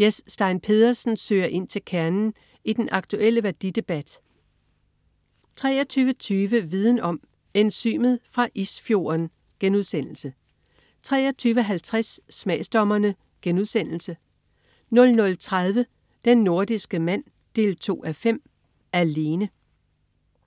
Jes Stein Pedersen søger ind til kernen i den aktulle værdidebat 23.20 Viden Om: Enzymet fra isfjorden* 23.50 Smagsdommerne* 00.30 Den nordiske mand 2:5. Alene